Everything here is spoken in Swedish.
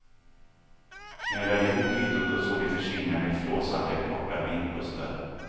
Knölade ihop kvittot och såg det försvinna med flåsande korta vindpustar.